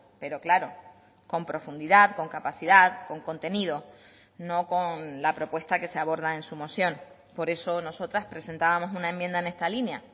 pero claro con profundidad con capacidad con contenido no con la propuesta que se aborda en su moción por eso nosotras presentábamos una enmienda en esta línea